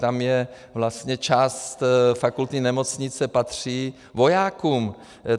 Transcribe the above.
Tam je vlastně... část fakultní nemocnice patří vojákům.